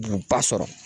Donba sɔrɔ